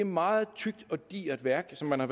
meget tykt og digert værk som man har